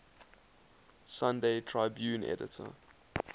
sunday tribune editor